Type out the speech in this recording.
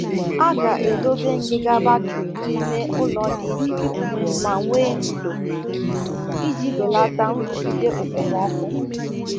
A ghaghị idobe akpa igwe ọzụzụ akpa igwe ọzụzụ ọkụkọ n'ebe nwere ndo iji belata ekpom-ọkụ n'oge nrụgide